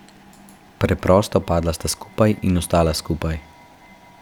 Preprosto padla sta skupaj in ostala skupaj.